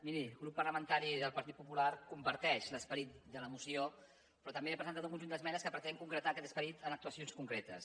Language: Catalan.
miri el grup parlamentari del partit popular comparteix l’esperit de la moció però també ha presentat un conjunt d’esmenes que pretén concretar aquest esperit amb actuacions concretes